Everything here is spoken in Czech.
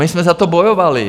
My jsme za to bojovali.